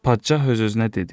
Padşah öz-özünə dedi: